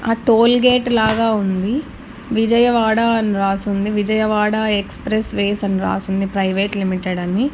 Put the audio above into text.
ఆ టోల్గేట్ లాగా ఉంది విజయవాడ అని రాసుంది విజయవాడ ఎక్స్ప్రెస్ వేస్ అని రాసుంది ప్రైవేట్ లిమిటెడ్ అని--